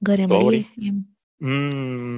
હમ ઘરે મળીએ એમ